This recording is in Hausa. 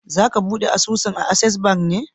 Za ka buɗe asusun a Ases ban ne?